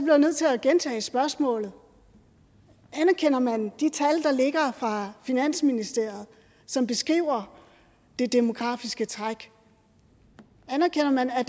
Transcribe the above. jeg nødt til at gentage spørgsmålet anerkender man de tal der ligger fra finansministeriet som beskriver det demografiske træk anerkender man at